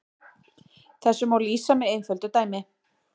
Þessu má lýsa með einföldu dæmi.